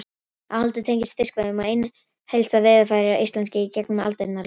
Áhaldið tengist fiskveiðum og einu helsta veiðarfæri Íslendinga í gegnum aldirnar, lóð.